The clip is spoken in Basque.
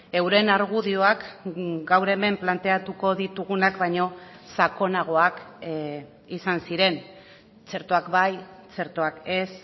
euren argudioak gaur hemen planteatuko ditugunak baino sakonagoak izan ziren txertoak bai txertoak ez